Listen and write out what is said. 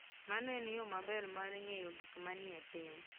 Mano en yo maber mar ng'eyo gik manie piny.